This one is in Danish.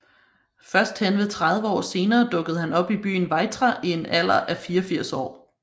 Først henved 30 år senere dukkede han op i byen Weitra i en alder af 84 år